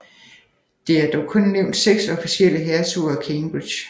Der er dog kun udnævnt seks officielle hertuger af Cambridge